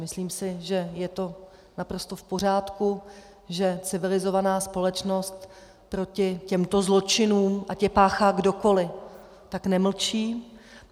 Myslím si, že je to naprosto v pořádku, že civilizovaná společnost proti těmto zločinům, ať je páchá kdokoliv, tak nemlčí.